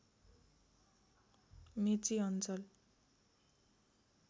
मेची अञ्चल